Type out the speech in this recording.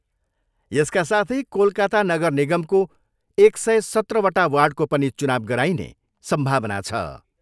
यसका साथै कोलकाता नगरनिगमको एक सय सत्रवटा वार्डको पनि चुनाउ गराइने सम्भावना छ।